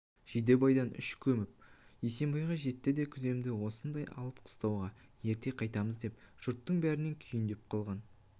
жидебайдан үш көшіп есембайға жетті де күземді осында алып қыстауға ерте қайтамыз деп жұрттың бәрінен кейіндеп қалған